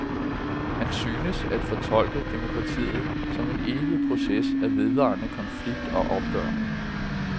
Han synes at fortolke demokratiet som en evig proces af vedvarende konflikt og opgør.